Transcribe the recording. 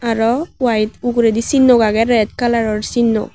aro white uguredi sinno age red colour o sinno.